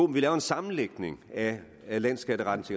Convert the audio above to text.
laver en sammenlægning af af landsskatterettens